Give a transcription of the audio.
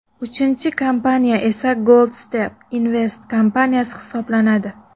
Uchinchi kompaniya esa Gold Step Invest kompaniyasi hisoblanadi.